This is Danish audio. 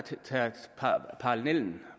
så tager parallellen